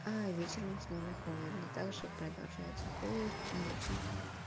вечером снова холодно также продолжается холод ночью